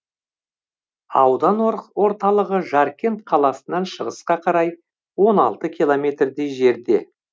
аудан орталығы жаркент қаласынан шығысқа қарай он алты километрдей жерде